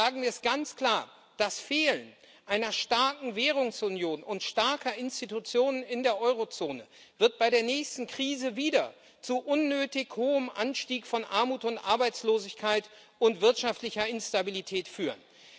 Sagen wir es ganz klar Das Fehlen einer starken Währungsunion und starker Institutionen in der Eurozone wird bei der nächsten Krise wieder zu unnötig hohem Anstieg von Armut und Arbeitslosigkeit und wirtschaftlicher Instabilität führen.